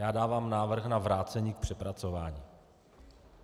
Já dávám návrh na vrácení k přepracování.